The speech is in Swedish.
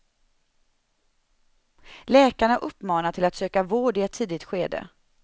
Läkarna uppmanar till att söka vård i ett tidigt skede.